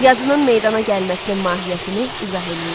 Yazının meydana gəlməsinin mahiyyətini izah eləyin.